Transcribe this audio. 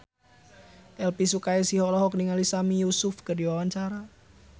Elvi Sukaesih olohok ningali Sami Yusuf keur diwawancara